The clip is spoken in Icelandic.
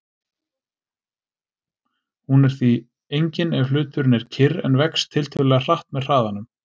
Hún er því engin ef hluturinn er kyrr en vex tiltölulega hratt með hraðanum.